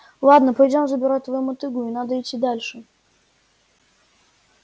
ладно пойдём забирать твою мотыгу и надо идти дальше